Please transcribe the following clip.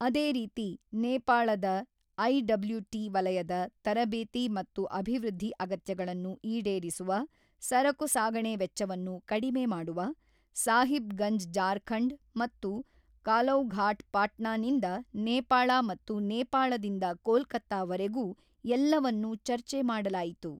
ಅದೇ ರೀತಿ, ನೇಪಾಳದ ಐಡಬ್ಲ್ಯುಟಿ ವಲಯದ ತರಭೇತಿ ಮತ್ತು ಅಭೀವೃದ್ಧಿ ಅಗತ್ಯಗಳನ್ನು ಈಡೇರಿಸುವ, ಸರಕು ಸಾಗಣೆ ವೆಚ್ಚವನ್ನು ಕಡಿಮೆ ಮಾಡುವ, ಸಾಹಿಬ್ ಗಂಜ್ ಜಾರ್ಖಂಡ್ ಮತ್ತು ಕಲೌಘಾಟ್ ಪಾಟ್ನಾ ನಿಂದ ನೇಪಾಳ ಮತ್ತು ನೇಪಾಳದಿಂದ ಕೋಲ್ಕತ್ತಾವರೆಗೂ ಎಲ್ಲವನ್ನೂ ಚರ್ಚೆ ಮಾಡಲಾಯಿತು.